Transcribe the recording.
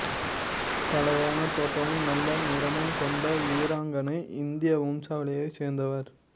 களையான தோற்றமும் நல்ல நிறமும் கொண்ட வீராங்கனை இந்திய வம்சாவளியைச் சேர்ந்தவர்